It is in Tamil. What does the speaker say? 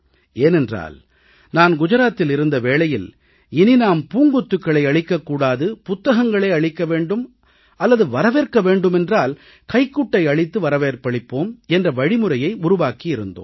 ஏனென்றால் நான் குஜராத்தில் இருந்த வேளையில் நாம் இனி பூங்கொத்துக்களை அளிக்கக் கூடாது புத்தகங்களே அளிக்க வேண்டும் அல்லது வரவேற்க வேண்டுமென்றால் கைக்குட்டை அளித்து வரவேற்பளிப்போம் என்ற வழிமுறையை உருவாக்கி இருந்தோம்